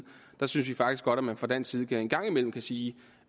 der synes vi faktisk godt at man fra dansk side en gang imellem kan sige